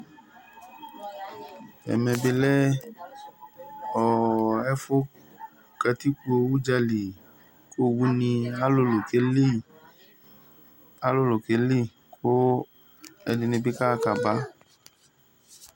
Ɛmɛ bilɛ ɛfʋ katikpo udzali kʋ owʋ ni alʋlʋ keli kʋ ɛduni bibi kaxa kaba